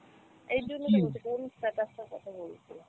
এই জন্য তো কোন status টার কথা বলছিস?